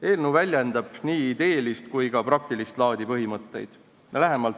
Eelnõu väljendab nii ideelist kui ka praktilist laadi põhimõtteid.